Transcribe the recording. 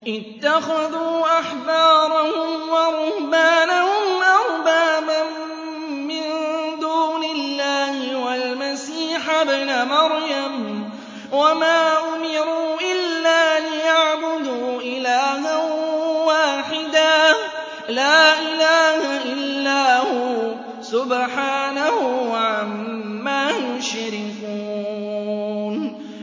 اتَّخَذُوا أَحْبَارَهُمْ وَرُهْبَانَهُمْ أَرْبَابًا مِّن دُونِ اللَّهِ وَالْمَسِيحَ ابْنَ مَرْيَمَ وَمَا أُمِرُوا إِلَّا لِيَعْبُدُوا إِلَٰهًا وَاحِدًا ۖ لَّا إِلَٰهَ إِلَّا هُوَ ۚ سُبْحَانَهُ عَمَّا يُشْرِكُونَ